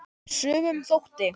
Sumum þótti!